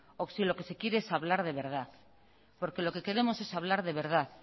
o si lo que se quiere es hablar de verdad porque lo que queremos es hablar de verdad